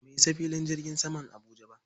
Ba mu isa filin jirgin saman Abuja ba.